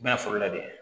U bɛna foro lajɛ